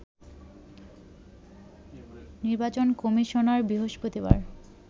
নির্বাচন কমিশনার বৃহস্পতিবার